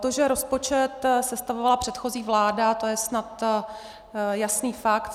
To, že rozpočet sestavovala předchozí vláda, to je snad jasný fakt.